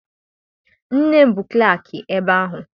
Nne m bụ klaakị ebe ahụ.